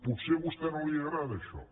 potser a vostè no li agrada això